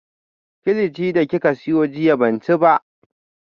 Kilichi da kika siyo jiya ban ci ba